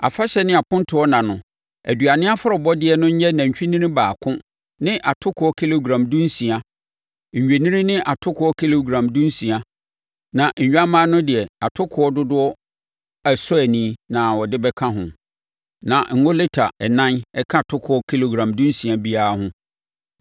“ ‘Afahyɛ ne apontoɔ nna no, aduane afɔrebɔdeɛ no nyɛ nantwinini baako ne atokoɔ kilogram dunsia, nnwennini ne atokoɔ kilogram dunsia, na nnwammaa no deɛ atokoɔ dodoɔ ɛsɔ ani na ɔde bɛka ho, na ngo lita ɛnan ka atokoɔ kilogram dunsia biara ho.